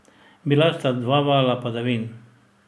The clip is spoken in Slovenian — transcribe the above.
Bila sta dva vala padavin.